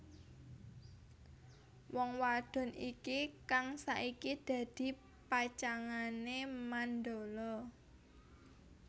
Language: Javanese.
Wong wadon iki kang saiki dadi pacangané Mandala